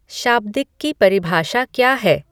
शाब्दिक की परिभाषा क्या है